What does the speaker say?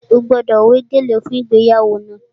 Ó gbọ́dọ̀ wé gèlè fún ìgbéyàwó náà!